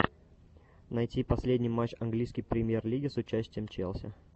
найти последний матч английской премьер лиги с участием челси